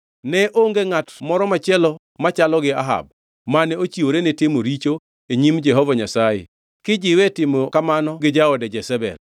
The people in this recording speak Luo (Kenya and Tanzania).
Ne onge ngʼat moro machielo machalo gi Ahab, mane ochiwore ni timo richo e nyim Jehova Nyasaye, kijiwe e timo kamano gi jaode Jezebel.